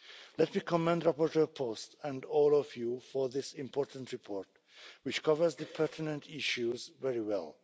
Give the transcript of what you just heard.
Let me commend rapporteur Post and all of you for this important report, which covers the pertinent issues very well.